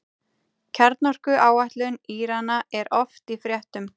Kjarnorkuáætlun Írana er oft í fréttum.